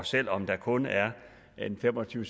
selv om der kun er fem og tyve